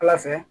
Ala fɛ